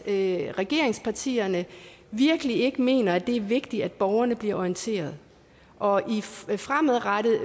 at regeringspartierne virkelig ikke mener at det er vigtigt at borgerne bliver orienteret og fremadrettet